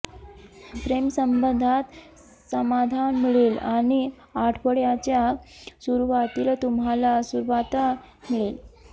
प्रेमसंबंधात समाधान मिळेल आणि आठवड्याच्या सुरूवातीला तुम्हाला सुवार्ता मिळेल